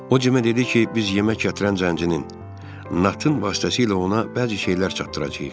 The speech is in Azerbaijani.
O Cimə dedi ki, biz yemək gətirən zəncirinin Natın vasitəsilə ona bəzi şeylər çatdıracağıq.